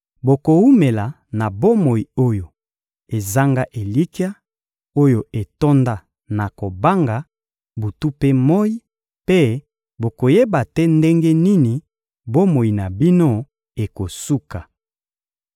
Bokowumela na bomoi oyo ezanga elikya, oyo etonda na kobanga, butu mpe moyi, mpe bokoyeba te ndenge nini bomoi na bino ekosuka.